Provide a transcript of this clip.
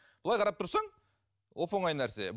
былай қарап тұрсаң оп оңай нәрсе